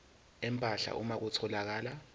empahla uma kutholakala